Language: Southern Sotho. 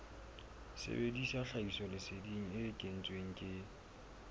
sebedisa tlhahisoleseding e kentsweng ke